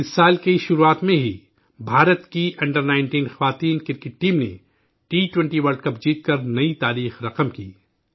اس سال کی شروعات میں ہی بھارت کی انڈر19 خواتین کرکٹ ٹیم نے ٹی 20 ورلڈ کپ جیت کر نئی تاریخ رقم کی